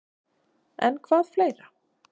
En hvað er fleira?